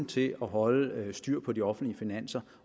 til at holde styr på de offentlige finanser